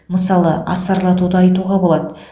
мысалы асарлатуды айтуға болады